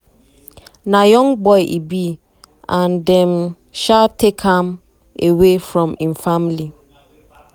na young boy e be and dem um take am away um from im family.